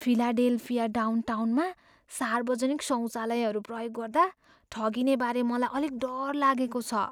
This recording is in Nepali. फिलाडेल्फिया डाउनटाउनमा सार्वजनिक शौचालयहरू प्रयोग गर्दा ठगिनेबारे मलाई अलिक डर लागेको छ।